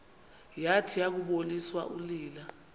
yathi yakuboniswa unina